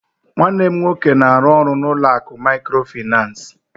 Nwanne m nwoke na-arụ ọrụ n'ụlọ akụ Mikrofaịnsi